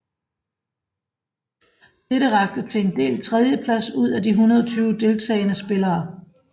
Dette rakte til en delt tredjeplads ud af de 120 deltagende spillere